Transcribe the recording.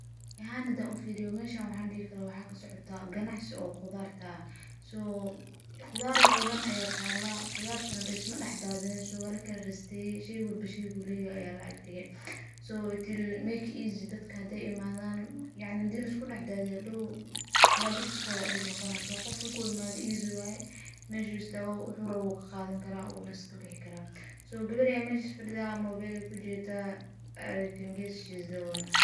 Ani ahan hadan ufiriyo waxaan dihi karaah meshan waxaa kasocotah ganacsi oo qudarta ah, so qudar badhan ayaa talah, qudarta na lismadax dadhinin walakala rasteye, shey walbo sheygu leyoho ayaa laagdige, so it will make easy dadka haday imadhan, yacni hada liskudax dadiyo hadow kalabixiskodha aa dib noqonaah, qof marku imadho easy waye meshu istagabo wuxu rawo uu kaqadani karaah , uu na iskabixi karaah, so gewer ayaa meshas fadidhaa mobel ayey kujedaah i can guees she is the owner.